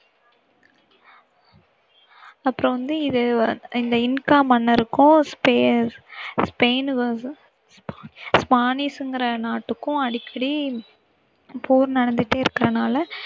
அப்புறம் வந்து இது வந்~ இந்த இன்கா மன்னருக்கும் ஸ்பெ~ ஸ்பெயின் ஸ்பானிஸ்ங்கிற நாட்டுக்கும் அடிக்கடி போர் நடந்துட்டே இருக்கிறனால